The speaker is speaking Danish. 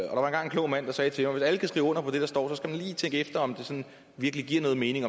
klog mand der sagde til mig hvis alle kan skrive under på det der står så skal man lige tænke efter om det sådan virkelig giver noget mening